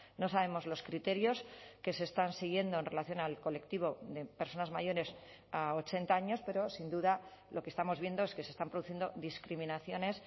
no sabemos los criterios que se están siguiendo en relación al colectivo de personas mayores a ochenta años pero sin duda lo que estamos viendo es que se están produciendo discriminaciones